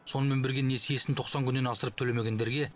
сонымен бірге несиесін тоқсан күннен асырып төлемегендерге